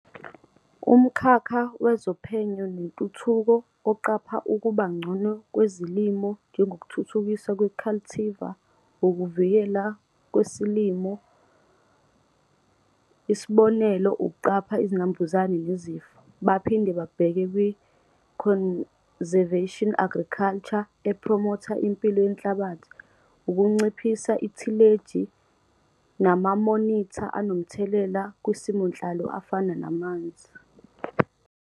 Umkhakha wezoPhenyo neNtuthuko oqapha ukuba ngcono kwezilimo njengokuthuthukiswa kwe-cultivar, ukuvikeleka kwesilimo e.g. ukuqapha izinambuzane nezifo. Baphinde babheke kwi-Conservation Agriculture ephromotha impilo yenhlabathi, ukunciphisa ithileji namamonitha anomthelela kwisimonhlalo afana namanzi.